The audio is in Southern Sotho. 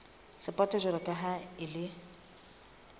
sapoto jwalo ka ha e